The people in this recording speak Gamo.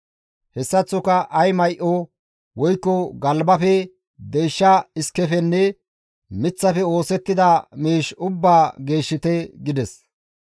Hessaththoka ay may7o woykko galbafe, deysha iskefenne miththafe oosettida miish ubbaa geeshshite» gides.